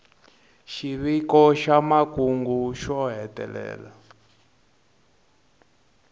xiviko xa makungu xo hetelela